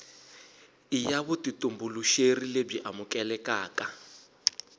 i ya vutitumbuluxeri lebyi amukelekaka